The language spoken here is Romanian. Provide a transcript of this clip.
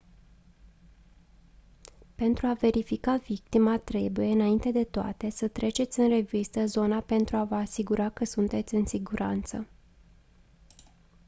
pentru a verifica victima trebuie înainte de toate să treceți în revistă zona pentru a vă asigura că sunteți în siguranță